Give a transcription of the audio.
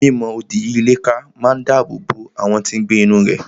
Mi mọ odi yí ilé ká máa dáàbò bo àwọn tí n gbé inú rẹ̀